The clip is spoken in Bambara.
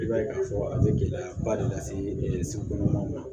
I b'a ye k'a fɔ a bɛ gɛlɛyaba de lase sokɔnɔ